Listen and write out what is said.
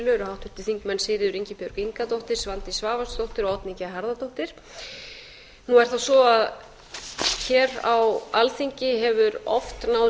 eru háttvirtir þingmenn sigríður ingibjörg ingadóttir svandís svavarsdóttir og oddný g harðardóttir nú er það svo að hér á alþingi hefur oft náðst samstaða